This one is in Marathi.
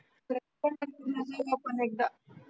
नाही एखादा